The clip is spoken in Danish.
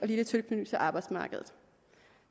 lille tilknytning til arbejdsmarkedet